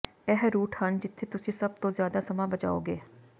ਇਹ ਰੂਟ ਹਨ ਜਿੱਥੇ ਤੁਸੀਂ ਸਭ ਤੋਂ ਜ਼ਿਆਦਾ ਸਮਾਂ ਬਚਾਓਗੇ